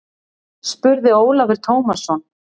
spurði Ólafur Tómasson.